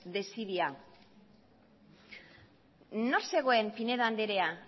desidia nor zegoen pinedo andrea